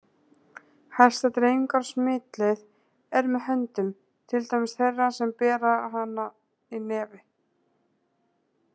Helsta dreifingar- og smitleið er með höndum til dæmis þeirra sem bera hana í nefi.